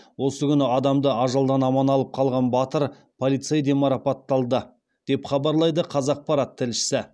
осы күні адамды ажалдан аман алып қалған батыр полцей де марапатталды деп хабарлайды қазақпарат тілшісі